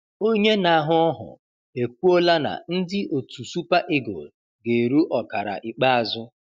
Onye na-ahụ ọhụ ekwuola na ndị otu super Eagle ga-eru ọkara ikpeazụ